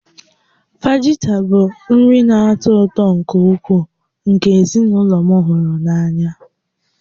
Fajita bụ nri na-atọ ụtọ nke ukwuu nke ezinụlọ m hụrụ n'anya